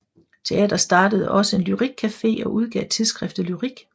Teateret startede også en lyrikcafe og udgav Tidsskriftet Lyrik